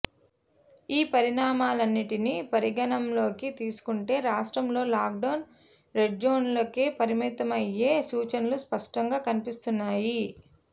ఈ పరిణామాలన్నింటినీ పరిగణనలోకి తీసుకుంటే రాష్ట్రంలో లాక్డౌన్ రెడ్జోన్లకే పరిమితమయ్యే సూచనలు స్పష్టంగా కనిపిస్తున్నాయి